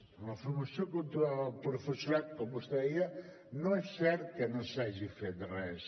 en la formació continuada del professorat com vostè deia no és cert que no s’hagi fet res